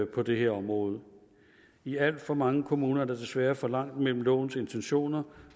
på det her område i alt for mange kommuner er der desværre for langt imellem lovens intentioner